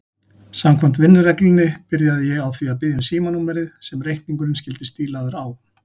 Samkvæmt vinnureglunni byrjaði ég á því að biðja um símanúmerið sem reikningurinn skyldi stílaður á.